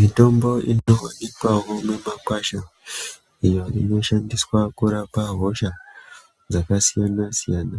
Mitombo inovanikwavo mimakwasha iyo inoshandiswa kurapa hosha dzakasiyana-siyana.